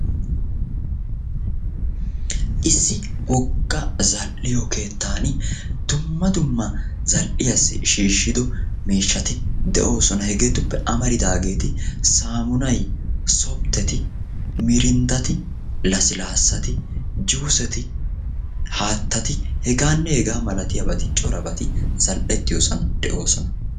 Issi wogga zal"iyo keettaani dumma dumma zal"iyaassi shiishido miishati de"oosona. Hegeetuppe amaridaageeti saamunay, softeti, mirindati, laslaasati, juuseti, haattati hegaanne hegaa malatiyaabati corabati zal"ettiyoosan de"oosona.